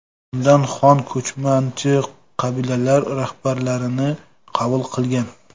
Unda xon ko‘chmanchi qabilalar rahbarlarini qabul qilgan.